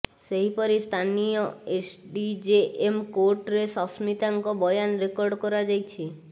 ସେହିପରି ସ୍ଥାନୀୟ ଏସଡିଜେଏମ କୋର୍ଟରେ ସସ୍ମିତାଙ୍କ ବୟାନ ରେକର୍ଡ କରାଯାଇଛି